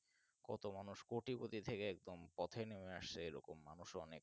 কত মানুষ কোটিপতি থেকে একদম পথে নেমে আসে এরকম মানুষ অনেক